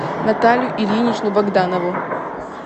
наталью ильиничну богданову